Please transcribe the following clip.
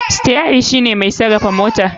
Steri shine mai sarafa motan.